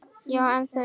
Já, en þú.